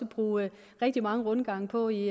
bruge rigtig mange rundgange på i